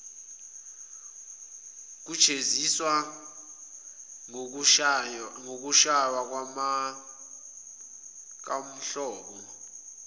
ukujeziswa ngokushaywa nokwakuwuhlobo